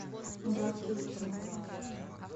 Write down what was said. гадкий утенок